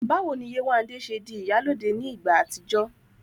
Báwo ni Yéwandé ṣe di "ìyálóde" ní ìgbà àtijọ́?